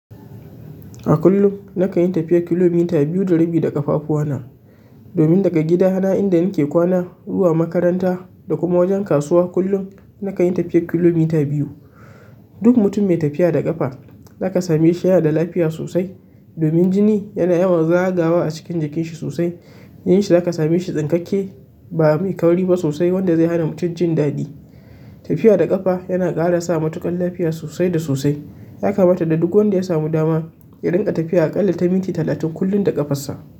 A kullum na kan yi tafiya kilomita biyu da rabi da ƙafafuwa na. Domin daga gidana inda nake kwana, zuwa makaranta da kuma wajen kasuwa, kullum na kan yi tafiyar kilomita biyu. Duk mutum mai tafiya da ƙafa za ka same shi yana da lafiya sosai. Domin jini yana yawan zagawa a cikin jikin shi sosai. Jinin shi za ka same shi tsinkakke ba mai kauri ba sosai wanda zai hana mutum jin daɗi. Tafiya da ƙafa yana ƙara sa matuƙan lafiya sosai da sosai. Ya kamata dai duk wanda ya samu dama ya dinga tafiya aƙalla ta minti talatin kullum da ƙafar sa.